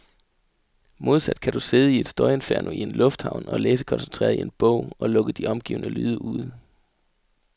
Modsat kan du sidde i et støjinferno i en lufthavn og læse koncentreret i en bog, og lukke de omgivende lyde ude.